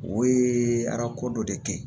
O ye arako dɔ de kɛ ye